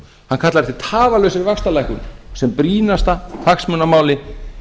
hann kallar eftir tafarlausri vaxtalækkun sem brýnasta hagsmunamáli